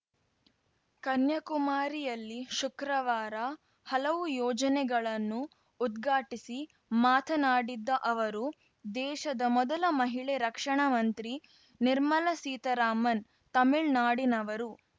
ಕನ್ಯಾಕುಮಾರಿಯಲ್ಲಿ ಶುಕ್ರವಾರ ಹಲವು ಯೋಜನೆಗಳನ್ನು ಉದ್ಘಾಟಿಸಿ ಮಾತನಾಡಿದ್ದ ಅವರು ದೇಶದ ಮೊದಲ ಮಹಿಳೆ ರಕ್ಷಣಾ ಮಂತ್ರಿ ನಿರ್ಮಲಾ ಸೀತಾರಾಮನ್‌ ತಮಿಳ್ನಾಡಿನವರು